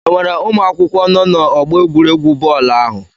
Enwere ụmụ akwụkwọ nọ n'ọgbọ egwuregwu bọọlụ ahụ?